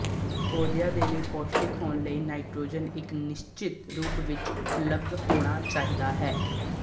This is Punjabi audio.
ਪੌਦਿਆਂ ਦੇ ਲਈ ਪੌਸ਼ਟਿਕ ਹੋਣ ਲਈ ਨਾਈਟ੍ਰੋਜਨ ਇੱਕ ਨਿਸ਼ਚਿਤ ਰੂਪ ਵਿੱਚ ਉਪਲਬਧ ਹੋਣਾ ਚਾਹੀਦਾ ਹੈ